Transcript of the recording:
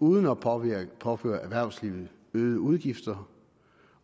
uden at påføre erhvervslivet øgede udgifter